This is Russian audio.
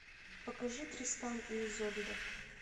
покажи тристан и изольда